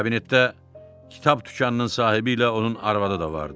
Kabinətdə kitab dükanının sahibi ilə onun arvadı da vardı.